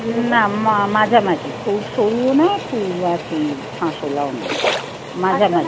না মাঝামাঝি। খুব সরুও না। খুব আর কি। শাঁসওয়ালাও নয়। মাঝামাঝি।